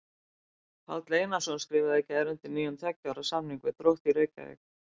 Páll Einarsson skrifaði í gær undir nýjan tveggja ára samning við Þrótt Reykjavík.